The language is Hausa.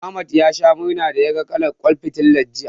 Ahmad ya sha murna da yaga kalar ƙwan fitilar, jiya.